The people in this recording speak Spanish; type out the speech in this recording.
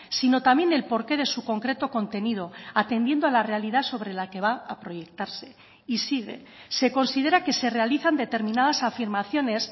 sino también el porqué de su concreto contenido atendiendo a la realidad sobre la que va a proyectarse y sigue se considera que se realizan determinadas afirmaciones